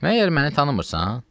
Məyər məni tanımırsan?